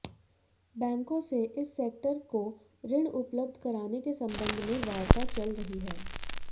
बैंकों से इस सेक्टर को ऋण उपलब्ध कराने के सम्बन्ध में वार्ता चल रही है